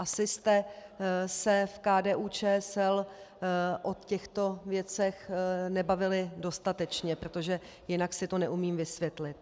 Asi jste se v KDU-ČSL o těchto věcech nebavili dostatečně, protože jinak si to neumím vysvětlit.